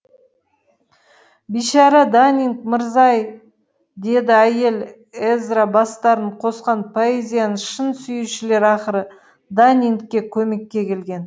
бейшара даннинг мырза ай деді әйел эзра бастарын қосқан поэзияны шын сүюшілер ақыры даннингке көмекке келген